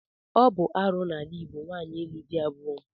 Ọ bụ arụ n'ala Igbo nwaanyị ịlụ di abụọ.